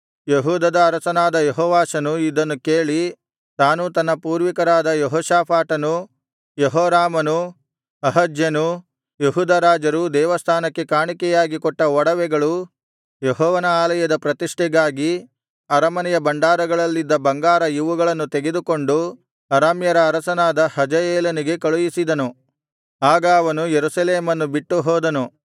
ಯೆಹೂದದ ಅರಸನಾದ ಯೆಹೋವಾಷನು ಇದನ್ನು ಕೇಳಿ ತಾನೂ ತನ್ನ ಪೂರ್ವಿಕರಾದ ಯೆಹೋಷಾಫಾಟನೂ ಯೆಹೋರಾಮನೂ ಅಹಜ್ಯನೂ ಯೆಹೂದ ರಾಜರೂ ದೇವಸ್ಥಾನಕ್ಕೆ ಕಾಣಿಕೆಯಾಗಿ ಕೊಟ್ಟ ಒಡವೆಗಳು ಯೆಹೋವನ ಆಲಯದ ಪ್ರತಿಷ್ಠೆಗಾಗಿ ಅರಮನೆಯ ಭಂಡಾರಗಳಲ್ಲಿದ್ದ ಬಂಗಾರ ಇವುಗಳನ್ನು ತೆಗೆದುಕೊಂಡು ಅರಾಮ್ಯರ ಅರಸನಾದ ಹಜಾಯೇಲನಿಗೆ ಕಳುಹಿಸಿದನು ಆಗ ಅವನು ಯೆರೂಸಲೇಮನ್ನು ಬಿಟ್ಟು ಹೋದನು